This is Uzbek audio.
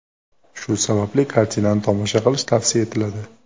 Shu sababli kartinani tomosha qilish tavsiya etiladi.